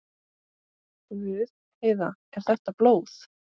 Guð, Heiða, er þetta blóð?